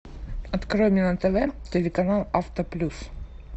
открой мне на тв телеканал авто плюс